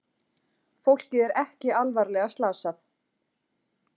Fólkið er ekki alvarlega slasað